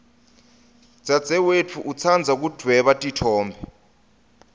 dzadzewetfu utsandza kudvweba titfombe